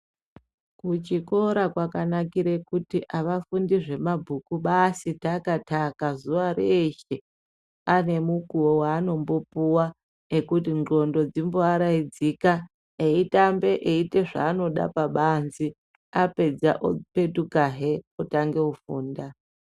Kuchikora kwakanakire kuti avafundi zvemabhuku basi taka-taka zuwa reeshe. Ane mukuwo waanombopuwa ekuti ndxondo dzimboaraidzika eitambe, eiite zvavanoda pabanze, apedza opetukahe otange kufunda.